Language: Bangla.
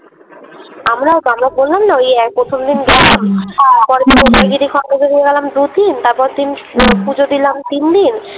আমরাও তো আমরা বললাম না ওই এ প্রথম দিন পরের দিন উদয়গিরী খন্ডগিরী গেলাম দুদিন তারপর দিন পুজো দিলাম তিনদিন।